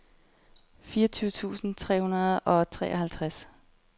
fireogtyve tusind tre hundrede og treoghalvtreds